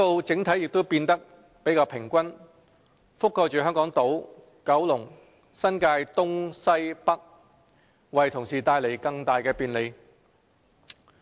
整體分布也變得較為平均，覆蓋香港島、九龍、新界東、西和北，為同事帶來更大便利。